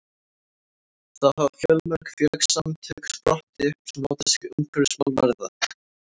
þá hafa fjölmörg félagasamtök sprottið upp sem láta sig umhverfismál varða